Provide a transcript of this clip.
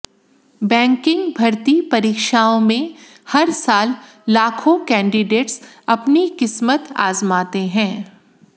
banking भर्ती परीक्षाओं में हर साल लाखों कैंडीडेट्स अपनी किस्मत आजमाते हैं